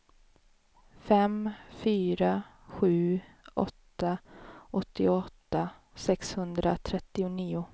fem fyra sju åtta åttioåtta sexhundratrettionio